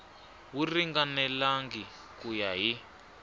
wu ringanelangi ku ya hi